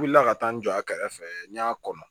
U wulila ka taa n jɔ a kɛrɛfɛ n y'a kɔnɔ